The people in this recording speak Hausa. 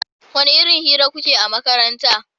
wani irin hira kukeyi a makaranta?